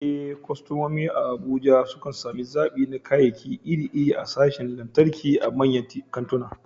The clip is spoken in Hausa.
Eh, kwastomomi a Abuja sukan sami zaɓi na kayayyaki iri-iri a sashin lantarki a manyan kantuna.